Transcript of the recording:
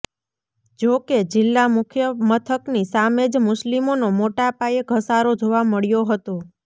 જો કે જિલ્લા મુખ્યમથકની સામે જ મુસ્લિમોનો મોટાપાયે ધસારો જોવા મળ્યો હતો